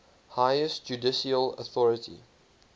highest judicial authority